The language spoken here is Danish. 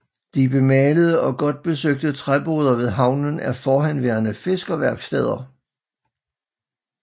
De bemalede og godt besøgte træboder ved havnen er forhenværende fiskerværksteder